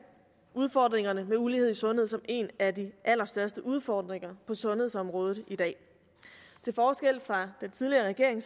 udfordringerne med ulighed i sundhed som en af de allerstørste udfordringer på sundhedsområdet i dag til forskel fra den tidligere regering